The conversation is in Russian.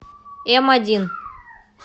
эмодин